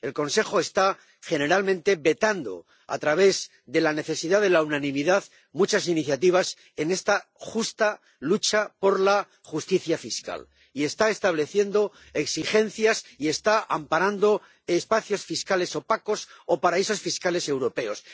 El Consejo está generalmente vetando, a través de la necesidad de unanimidad, muchas iniciativas en esta justa lucha por la justicia fiscal y está estableciendo exigencias y está amparando espacios fiscales opacos o paraísos fiscales europeos.